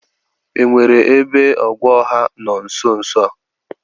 E nwere ebe ogwe ọha nọ nsonso a?